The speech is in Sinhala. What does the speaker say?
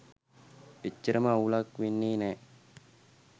එච්චරම අවුලක් වෙන්නෙ නෑ.